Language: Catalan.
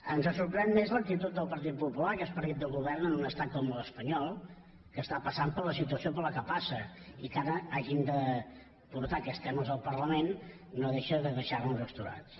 ens sorprèn més l’actitud del partit popular que és partit del govern en un estat com l’espanyol que està passant per la situació per la qual passa i que ara hagin de portar aquests temes al parlament no deixa de deixar nos astorats